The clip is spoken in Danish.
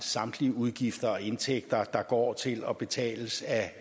samtlige udgifter og indtægter der går til og betales